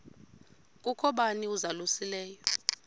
kukho bani uzalusileyo